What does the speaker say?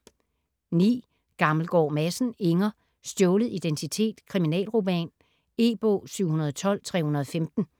Gammelgaard Madsen, Inger: Stjålet identitet: kriminalroman E-bog 712315